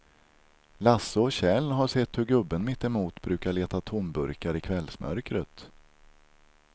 Lasse och Kjell har sett hur gubben mittemot brukar leta tomburkar i kvällsmörkret.